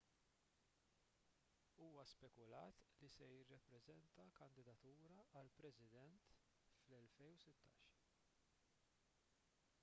huwa spekulat li se jippreżenta kandidatura għal president fl-2016